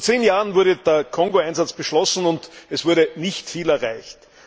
Vor zehn Jahren wurde der Kongo Einsatz beschlossen, und es wurde nicht viel erreicht.